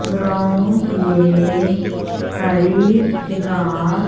ground में हरी घास--